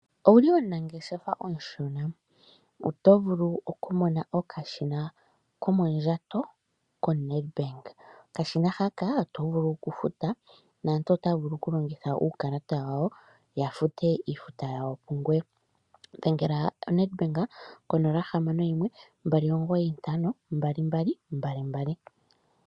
Ouli omunangeshefa omushona, oto vulu okumona okashina komondjato koNedbank, okashina haka oto vulu oku futa naantu otaya vulu oku longitha uukalata wawo yafute iifuta yawo pungoye po. Dhengela Nedbank konomola 0612952222.